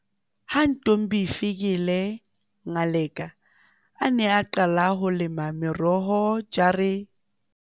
Ha Ntombifikile Ngaleka a ne a qala ho lema meroho jare-